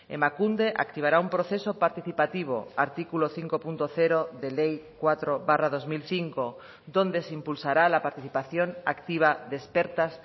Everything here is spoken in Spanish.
emakunde activará un proceso participativo artículo cinco punto cero de ley cuatro barra dos mil cinco donde se impulsará la participación activa de expertas